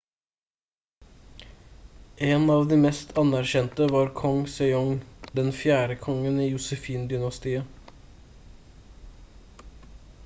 en av de mest anerkjente var kong sejong den 4. kongen i josefin-dynastiet